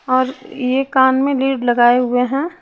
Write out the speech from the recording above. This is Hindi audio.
और ये कान में लीड लगाए हुए हैं--